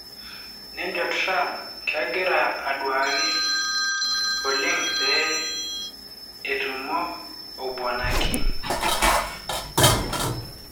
nejo Trump kegira oduaki oleng pee etumo o bwana Kim.